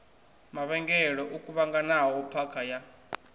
mavhengele o kuvhanganaho phakha ya